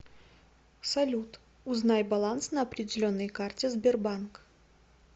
салют узнай баланс на определенной карте сбербанк